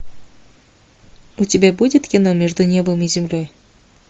у тебя будет кино между небом и землей